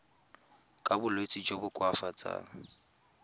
ka bolwetsi jo bo koafatsang